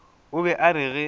o be a re ge